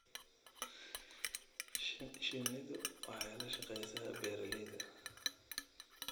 Shinnidu waxay la shaqaysaa beeralayda.